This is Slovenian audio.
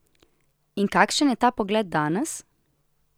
In kakšen je ta pogled danes?